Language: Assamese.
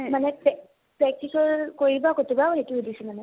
মানে পে practical কৰিবা কতোবা সেইটো সুধিছো।